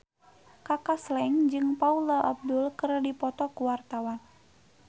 Kaka Slank jeung Paula Abdul keur dipoto ku wartawan